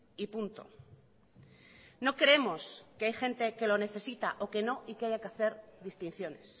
y punto no creemos que hay gente que lo necesita o que no y que haya que hacer distinciones